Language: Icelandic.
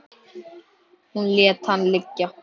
Hún lét hana liggja.